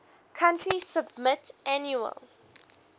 country submit annual